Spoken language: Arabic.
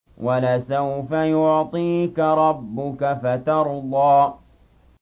وَلَسَوْفَ يُعْطِيكَ رَبُّكَ فَتَرْضَىٰ